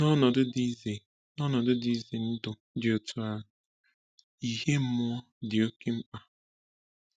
N’ọnọdụ dị ize N’ọnọdụ dị ize ndụ dị otú ahụ, ìhè mmụọ dị oké mkpa.